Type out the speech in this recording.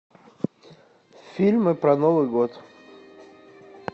фильмы про новый год